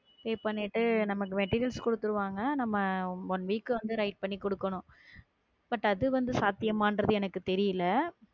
Pay பண்ணிட்டு நமக்கு material கொடுத்துடுவாங்க நம்ம one week வந்து write பண்ணி கொடுக்கணும் but அது வந்து சாத்தியமான்றது எனக்கு தெரியல